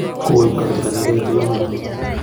Koip kasarta nekoy tuyonotok